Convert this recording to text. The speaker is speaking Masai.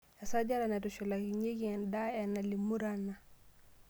Esajate naitushulakinyieki enaa enalimu Rana ;